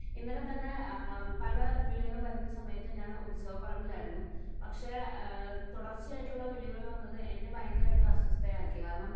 ഇന്നലെ തന്നെ പല വിളികളും വരുന്ന സമയത്ത് ഞാൻ ഉത്സവപറമ്പിൽ ആയിരുന്നു. പക്ഷേ തുടർച്ചയായുള്ള വിളികൾ വന്നത് എന്നെ ഭയങ്കരമായിട്ട് അസ്വസ്ഥയാക്കി.കാരണം